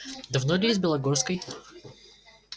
давно ли из белогорской